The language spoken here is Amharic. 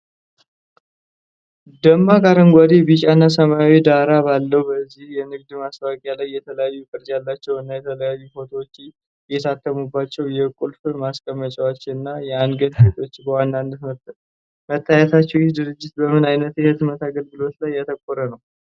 ደማቅ አረንጓዴ፣ ቢጫና ሰማያዊ ዳራ ባለው በዚህ የንግድ ማስታወቂያ ላይ፣ የተለያየ ቅርፅ ያላቸው እና የተለያዩ ፎቶዎች የታተሙባቸው የቁልፍ ማስቀመጫዎች (Keyholders) እና አንገትጌዎች በዋናነት መታየታቸው፣ ይህ ድርጅት በምን አይነት የህትመት አገልግሎቶች ላይ ያተኮረ ነው?